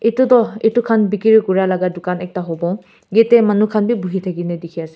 etu tu etu kan bekri kuria lak dokan ekta hobo yati manu kan bi bohi taki kina teki ase.